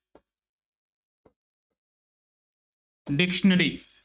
Dictionary